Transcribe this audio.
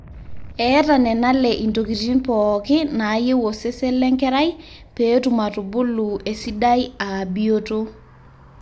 eeta nenale intokitin pooki naayieu osesen lenkerai pee etum atubulu esidai aa bioto